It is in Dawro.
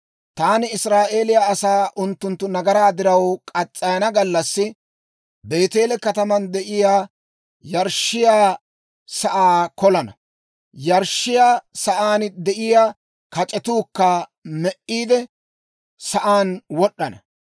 Taani Israa'eeliyaa asaa unttunttu nagaraa diraw muriyaa gallassi, Beeteele kataman de'iyaa yarshshiyaa sa'aa kolana; yarshshiyaa sa'aan de'iyaa kac'etuukka me"iide, sa'aan wod'd'ana.